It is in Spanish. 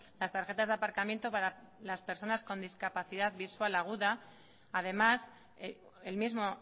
las tarjetas de aparcamiento para las personas con discapacidad visual aguda además el mismo